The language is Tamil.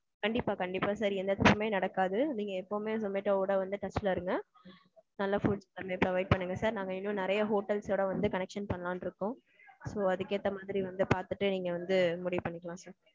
கண்டிப்பா கண்டிப்பா sir எந்த தப்பும் நடக்காது நீங்க எப்பயுமே Zomato ஓட வந்து touch ல இருங்க. நல்ல food நீங்க order பண்ணுங்க sir. நாங் இன்னும் நிறைய hotel ஸ் connection பண்ணலாம்-னு இருக்கோம். so, அதுக்கு ஏத்த மாதிரி வந்து பாத்துட்டு நீங்க வந்து முடிவு பண்ணிக்கலாம் sir